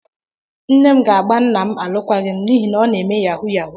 Nne m ga-agba nna m alụkwaghịm n'ihi na ọ na-eme yahu yahu.